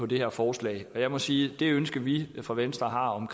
det her forslag jeg må sige at det ønske vi fra venstre har om